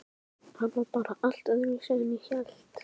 Hann var bara allt öðruvísi en ég hélt.